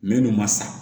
Min n'u ma sa